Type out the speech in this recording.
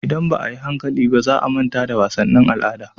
Idan ba a yi hankali ba, za a manta da wasannin al'ada.